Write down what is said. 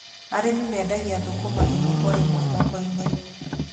Arĩmi mendagia thũkũma ĩmwe kwa ĩmwe thoko-inĩ.